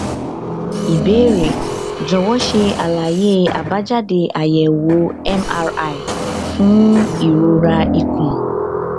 ìbéèrè jọwọ ṣe àlàyé àbájáde àyẹwò mri fún ìròra ikùn